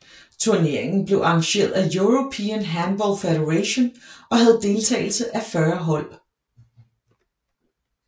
Turneringen blev arrangeret af European Handball Federation og havde deltagelse af 40 hold